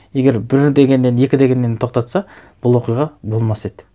егер бір дегеннен екі дегеннен тоқтатса бұл оқиға болмас еді